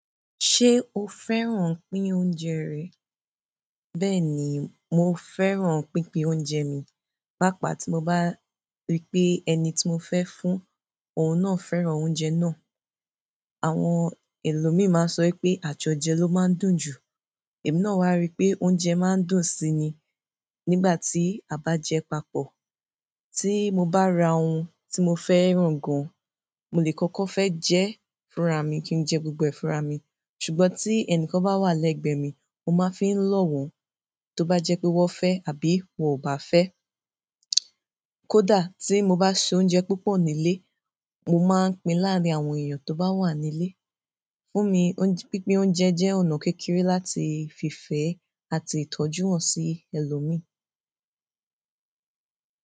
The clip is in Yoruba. Ṣé o fẹ́ràn pín oúnjẹ rẹ̀? Bẹ́ẹ̀ ni, mo fẹ́ràn pínpín oúnjẹ mi, pàápàá tí mo bá rí pé ẹni tí mo fẹ́ fún, òun náà fẹ́ràn oúnjẹ náà. Àwọn ẹlòmíì máa sọ pé àtọjẹ ló máa ń dùn jù, èmi náà wá rí pé oúnjẹ máa ń dùn si ni, nígbà tí a bá jẹ papọ̀. Tí mo bá ra oun tí mo fẹ́ràn gan, mo lè kọ́kọ́ fẹ́ jẹ fúnra mi kí n jẹ gbogbo ẹ fúnra mi, ṣùgbọ́n tí ẹnìkan bá wà lẹ́gbẹ̀ẹ́ mi, mo máa fi lọ̀wọ́ wọn, tó bá jẹ pé wọ́n fẹ́ àbí wọ́n ò bá fẹ́. Kódà tí mo bá se oúnjẹ púpọ̀ nílé, mo máa pín láàárín àwọn èèyàn tó bá wà nílé. Fún mi, pínpín oúnjẹ jẹ́ ọ̀nà kékeré láti fi fẹ́ àti tọ́jú wọ́n sí ẹlòmíì.